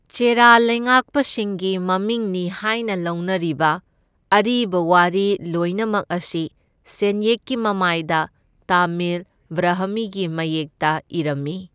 ꯆꯦꯔꯥ ꯂꯩꯉꯥꯛꯄꯁꯤꯡꯒꯤ ꯃꯃꯤꯡꯅꯤ ꯍꯥꯏꯅ ꯂꯧꯅꯔꯤꯕ ꯑꯔꯤꯕ ꯋꯥꯔꯤ ꯂꯣꯏꯅꯃꯛ ꯑꯁꯤ ꯁꯦꯟꯌꯦꯛꯀꯤ ꯃꯃꯥꯏꯗ ꯇꯥꯃꯤꯜ ꯕ꯭ꯔꯥꯍꯃꯤꯒꯤ ꯃꯌꯦꯛꯇ ꯏꯔꯝꯃꯤ꯫